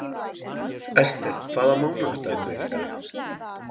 Ester, hvaða mánaðardagur er í dag?